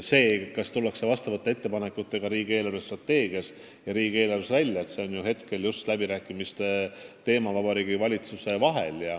See, kas sel teemal ettepanekutega tullakse riigi eelarvestrateegiat ja riigieelarvet arutades välja, on just praegu valitsuse läbirääkimistel selgumas.